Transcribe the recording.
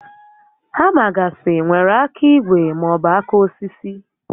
Hama gasị nwèrè áká ígwè maọbụ áká osisi